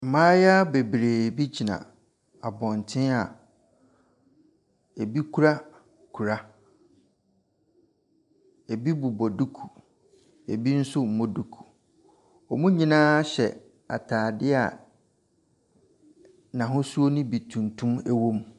Mmaayewa bebree bi gyina abɔnten a ebi kura kora. Ebi bobɔ duku, ebi nso nnmɔ duku. Wɔn nyinaa hyɛ ataade a n'ahosuo no bi tuntum wɔ mu.